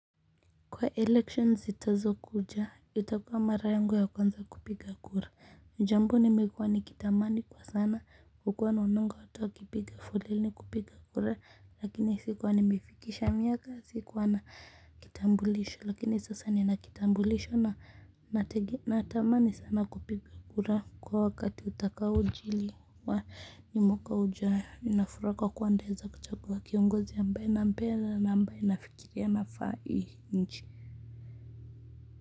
Kwa election zitazo kuja, itakuwa mara yangu ya kwanza kupiga kura, jambo nimekuwa ni kitamani kwa sana huku naonanga watu wa kipiga foleni kupiga kura lakini sikuwa nimefikisha miaka, sikuwa na kitambulisho lakini sasa ninakitambulisho na natamani sana kupiga kura kwa wakati utakaojiri ni mwaka ujao ninafuraha kwa kuwa nitaeza kuchagua kiongozi ambaye nampenda na mbaye na ambaye nafikiria anafaa hii nchi.